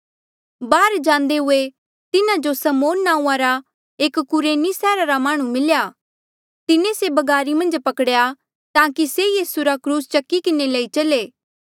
बाहर जांदे हुए तिन्हा जो समौन नांऊँआं रा एक कुरेनी सैहरा रा माह्णुं मिल्या तिन्हें से बगारी मन्झ पकड़ेया ताकि से यीसू रा क्रूस चकी किन्हें लई चले